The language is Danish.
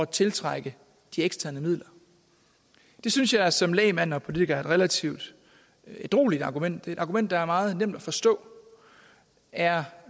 tiltrække de eksterne midler det synes jeg som lægmand og politiker er et relativt ædrueligt argument det et argument der er meget nemt at forstå er